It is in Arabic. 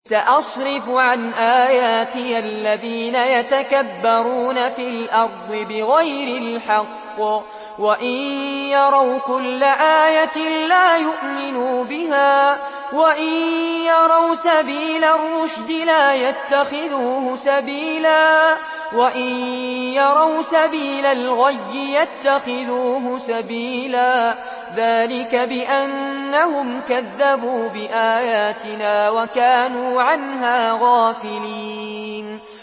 سَأَصْرِفُ عَنْ آيَاتِيَ الَّذِينَ يَتَكَبَّرُونَ فِي الْأَرْضِ بِغَيْرِ الْحَقِّ وَإِن يَرَوْا كُلَّ آيَةٍ لَّا يُؤْمِنُوا بِهَا وَإِن يَرَوْا سَبِيلَ الرُّشْدِ لَا يَتَّخِذُوهُ سَبِيلًا وَإِن يَرَوْا سَبِيلَ الْغَيِّ يَتَّخِذُوهُ سَبِيلًا ۚ ذَٰلِكَ بِأَنَّهُمْ كَذَّبُوا بِآيَاتِنَا وَكَانُوا عَنْهَا غَافِلِينَ